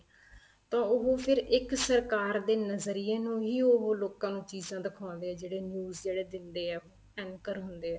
ਤਾਂ ਉਹ ਫ਼ਿਰ ਇੱਕ ਸਰਕਾਰ ਦੇ ਨਜੀਰੀਏ ਨੂੰ ਹੀ ਉਹ ਲੋਕਾਂ ਨੂੰ ਚੀਜ਼ਾਂ ਦਿਖਾਉਦੇ ਏ ਜਿਹੜੇ news ਜਿਹੜੇ ਦਿੰਦੇ ਏ anchor ਹੁੰਦੇ ਏ